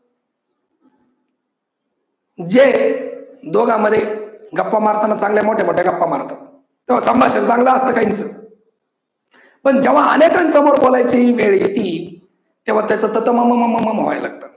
जे दोघांमध्ये गप्पा मारताना चांगल्या मोठ्या मोठ्या गप्पा मारतात, तेव्हा संभाषण चांगल असतं काहींच पण जेव्हा अनेकांसमोर बोलायची वेळ येती तेव्हा त्याच त त म म म म म म व्हायला लागतं.